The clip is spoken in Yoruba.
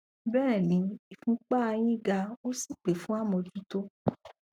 bẹẹni ìfúnpá a yín ga ó sì pè fún àmójútó